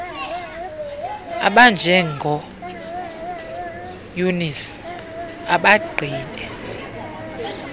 abanjengo eunice abagqibe